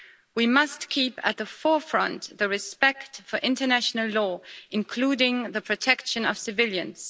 We must keep at the forefront respect for international law, including the protection of civilians.